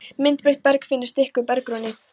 Myndbreytt berg finnst ekki í berggrunni